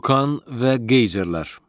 Vulcan və qeyzerlər.